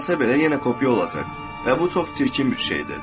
Bacarsa belə yenə kopya olacaq və bu çox çirkin bir şeydir.